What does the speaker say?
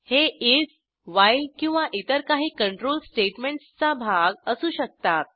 हे if while किंवा इतर काही कंट्रोल स्टेटमेंटसचा भाग असू शकतात